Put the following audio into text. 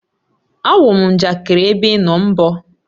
Áwu m njakịrị ébé ị nọ mgbor!